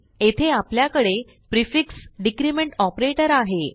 येथे आपल्याकडे prefix decrement operator आहे